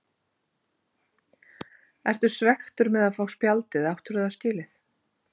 Ertu svekktur með að fá spjaldið eða áttirðu það skilið?